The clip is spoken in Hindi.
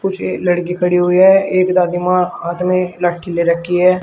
पीछे लड़की खड़ी हुई है एक दादी मां हाथ में लठी ले रखी है।